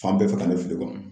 Fan bɛɛ fɛ ka ne fili kɔ